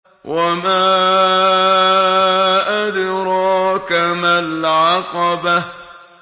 وَمَا أَدْرَاكَ مَا الْعَقَبَةُ